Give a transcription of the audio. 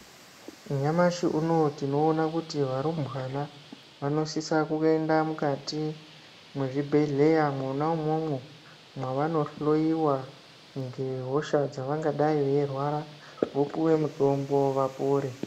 Nyamashi unowu tinoona kuti varumbwana vanosisa kuyenda mukati mwezvibhedheya mwona umwomwo, mwavanohloyiwa ngehosha dzavangadayi veyirwara, vopuwe mutombo vapore.